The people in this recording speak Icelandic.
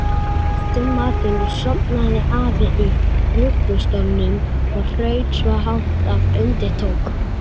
Eftir matinn sofnaði afi í ruggustólnum og hraut svo hátt að undir tók.